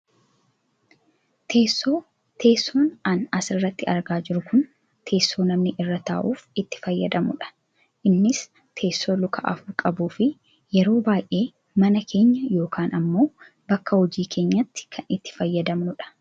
Teessoo, teessoon an asirratti argaa jiru kun teessoo namni irra taa'uuf itti fayyadamudha. Innis teessoo luka afur qabuufi yeroo baayyee mana keenya yookaan ammoo bakka hojii keenyaatti kan itti fayyadamnudha.